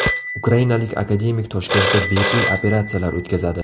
Ukrainalik akademik Toshkentda bepul operatsiyalar o‘tkazadi.